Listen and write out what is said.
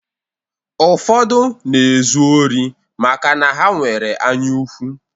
Ụfọdụ na-ezu ori maka na ha nwere anyaukwu.